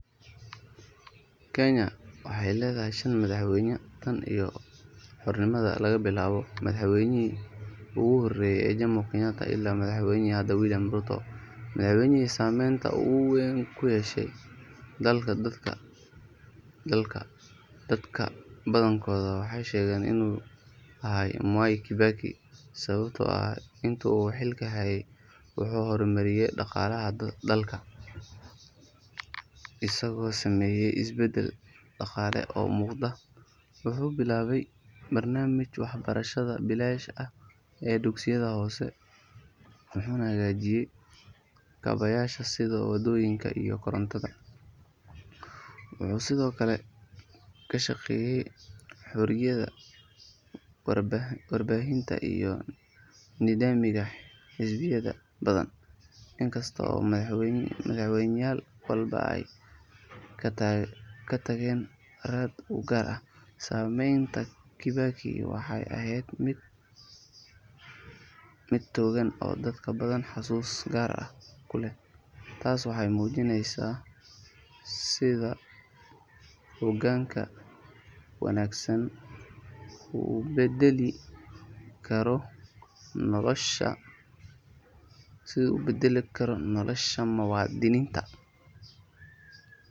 Kenya waxay leedahay shan madaxweyne tan iyo xornimadii laga bilaabo madaxweynihii ugu horeeyay ee Jomo Kenyatta ilaa madaxweynaha hadda William Ruto. Madaxweynihii saameynta ugu weyn ku yeeshay dalka dadka badankoodu waxay sheegaan inuu ahaa Mwai Kibaki sababtoo ah intii uu xilka hayay wuxuu hormariyay dhaqaalaha dalka isagoo sameeyay isbedel dhaqaale oo muuqda, wuxuu bilaabay barnaamijka waxbarashada bilaashka ah ee dugsiga hoose wuxuuna hagaajiyay kaabayaasha sida waddooyinka iyo korontada. Wuxuu sidoo kale ka shaqeeyay xorriyadda warbaahinta iyo nidaamka xisbiyada badan. Inkasta oo madaxweynayaal walba ay ka tageen raad u gaar ah, saameynta Kibaki waxay ahayd mid togan oo dadka badan xusuus gaar ah ku leh. Taas waxay muujinaysaa sida hoggaan wanaagsan uu u beddeli karo nolosha muwaadiniinta.